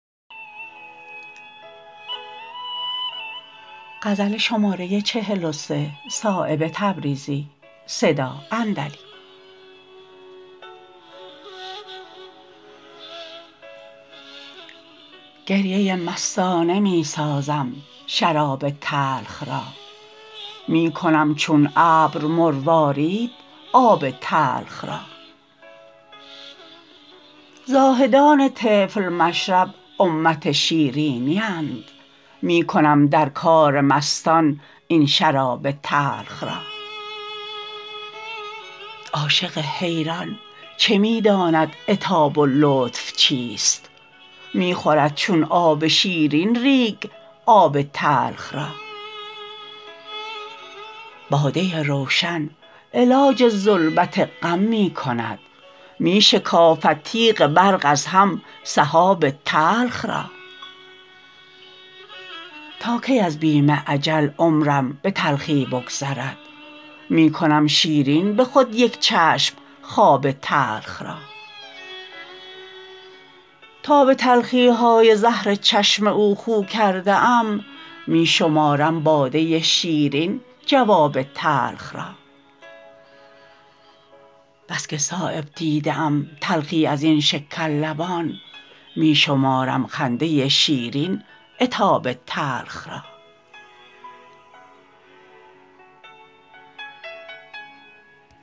گریه مستانه می سازم شراب تلخ را می کنم چون ابر مروارید آب تلخ را زاهدان طفل مشرب امت شیرینی اند می کنم در کار مستان این شراب تلخ را عاشق حیران چه می داند عتاب و لطف چیست می خورد چون آب شیرین ریگ آب تلخ را باده روشن علاج ظلمت غم می کند می شکافد تیغ برق از هم سحاب تلخ را تا کی از بیم اجل عمرم به تلخی بگذرد می کنم شیرین به خود یک چشم خواب تلخ را تا به تلخی های زهر چشم او خو کرده ام می شمارم باده شیرین جواب تلخ را بس که صایب دیده ام تلخی ازین شکر لبان می شمارم خنده شیرین عتاب تلخ را